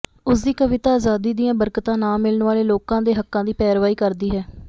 ਉਸਦੀ ਕਵਿਤਾ ਅਜ਼ਾਦੀ ਦੀਆਂ ਬਰਕਤਾਂ ਨਾ ਮਿਲਣ ਵਾਲੇ ਲੋਕਾਂ ਦੇ ਹੱਕਾਂ ਦੀ ਪੈਰਵੀ ਕਰਦੀ ਹੈ